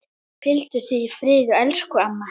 Hvíldu í friði elsku amma.